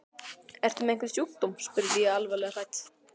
Ertu með einhvern sjúkdóm? spurði ég alvarlega hrædd.